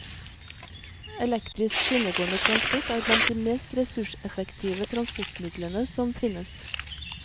Elektrisk skinnegående transport er blant de mest ressurseffektive transportmidlene som finnes.